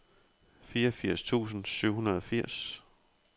fireogfirs tusind syv hundrede og firs